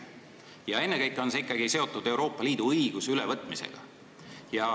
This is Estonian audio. Ja ennekõike on see ikkagi seotud Euroopa Liidu õiguse ülevõtmisega.